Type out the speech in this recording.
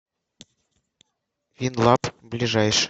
винлаб ближайший